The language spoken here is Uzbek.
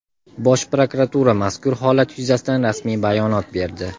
Bosh prokuratura mazkur holat yuzasidan rasmiy bayonot berdi.